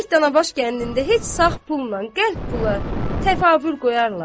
Görək Tanabaş kəndində heç sağ pulla qəlp pula təfavül qoyarlar?